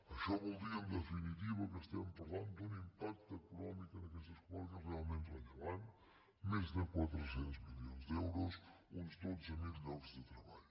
això vol dir en definitiva que estem parlant d’un impacte econòmic en aquestes comarques realment rellevant més de quatre cents milions d’euros uns dotze mil llocs de treball